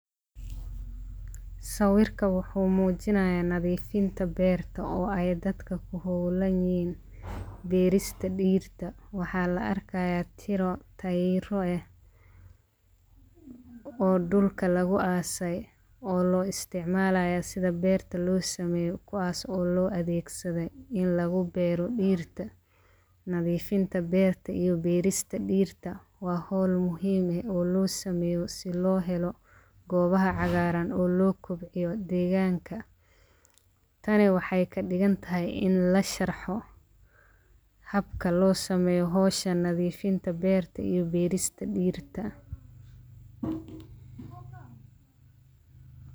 Sawirka wuxuu muujinayaa nadiifinta beerta oo ay dadka ku hawlaan yahay beerista dhiirta. Waxaa la arkayaa tiro tayro ah oo dhulka lagu aasay oo loo isticmaalaya sida beerta loo sameyo kuwaas oo loo adeegsaday in lagu beeru dhiirta. Nadiifinta beerta iyo beerista dhiirta waa hol muhiim ah oo loo sameyo si loo helo goobaha cagaaran oo loo kobciyo deegaanka. Tani waxay ka dhigan tahay in la sharxo habka loo sameyo hoosha nadiifinta beerta iyo beerista dhiirta.